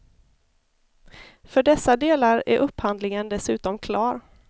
För dessa delar är upphandlingen dessutom klar.